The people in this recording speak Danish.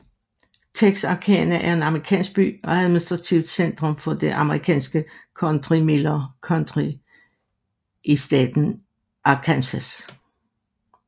Texarkana er en amerikansk by og administrativt centrum for det amerikanske county Miller County i staten Arkansas